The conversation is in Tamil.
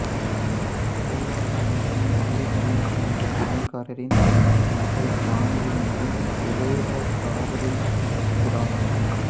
ஸ்ரீராம் கணேசன் தில்லி கணேஷ் என்ற சமையல்காரரின் மகள் ஜானகி மீது சுலேகா காதலில் விழுகிறான்